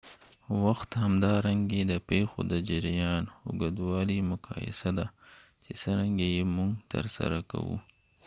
وخت همدارنګه د پیښو د جریان اوږدوالی مقایسه ده چې څرنګه یې موږ ترسره کوو